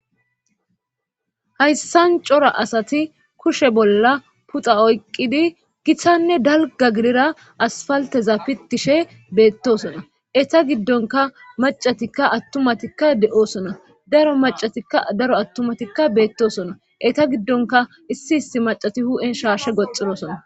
hayssan cora asati kushe bolla puxa oyqqidi githanne dalga gidira asfalteza pitishe beettosona eta giddonka macatikka attumatikka de7oosona daro macatikka daro attumatikka beettosona eta giddonka issi issi macati hu7en shaarshe goxirosona